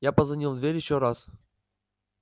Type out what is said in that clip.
я позвонил в дверь ещё раз